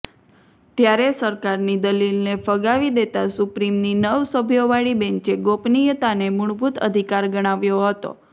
ત્યારે સરકારની દલીલને ફગાવી દેતા સુપ્રીમની નવ સભ્યોવાળી બેન્ચે ગોપનીયતાને મુળભૂત અધિકાર ગણાવ્યો હતો